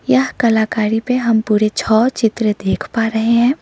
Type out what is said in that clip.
यह कलाकारी पे हम पूरे छ चित्र देख पा रहे हैं।